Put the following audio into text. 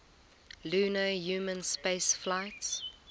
lunar human spaceflights